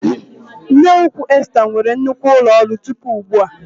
Nneukwu Esta nwere nnukwu ụlọ ọrụ tupu ugbu a.